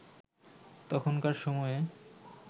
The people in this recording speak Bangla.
তখনকার সময়ে